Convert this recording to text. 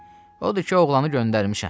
Odur ki, oğlanı göndərmişəm.